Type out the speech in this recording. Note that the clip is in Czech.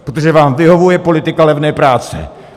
Protože vám vyhovuje politika levné práce.